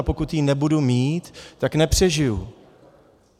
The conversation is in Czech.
A pokud ji nebudu mít, tak nepřežiji.